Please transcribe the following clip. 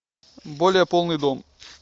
более полный дом